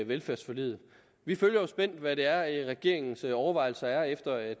velfærdsforliget vi følger spændt hvad det er regeringens overvejelser er efter at